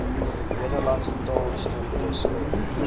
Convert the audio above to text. nederlandse taalhistorikus f